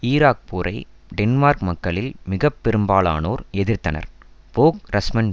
Iraq போரை Denmark மக்களில் மிக பெரும்பாலோர் எதிர்த்தனர் போக் ரஸ்மசன்